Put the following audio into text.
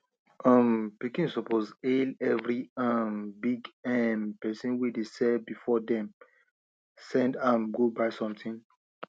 um pikin suppose hail every um big um person wey dey sell before dem send am go buy something